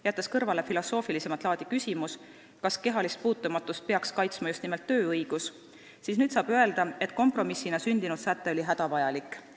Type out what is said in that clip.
Jättes kõrvale filosoofilisemat laadi küsimuse, kas kehalist puutumatust peaks kaitsma just nimelt tööõigus, saab nüüd öelda, et kompromissina sündinud säte oli hädavajalik.